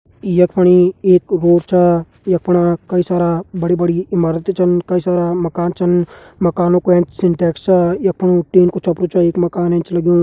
यख पणी एक कुकर छह यख पणी कई सारा बड़ी बड़ी इमारतें छन कई सारा माकन छन मकानों का ऐंच सिंटेक्स छ यख मा टिन को छप्परु एक माकन ऐंच लग्युं।